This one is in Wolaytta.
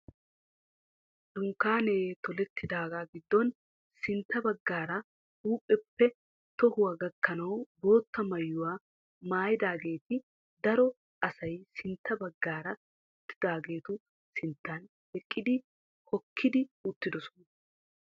Dunkkaanee tolettidaagaa giddon sintta baggaara huuphiyaappe tohuwaa gakkanawu boottaa maayuwa maayidaageeti daro asay sintta baggaara uttidaageetu sinttan eqqidi hokkidi uttidosona.